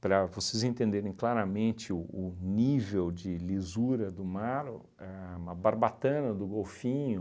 Para vocês entenderem claramente o o nível de lisura do mar, a uma barbatana do golfinho,